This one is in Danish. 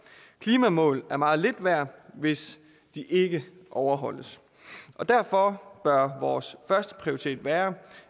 klimamål er meget lidt værd hvis de ikke overholdes derfor bør vores første prioritet være